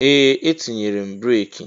Ee! Etinyere m breeki.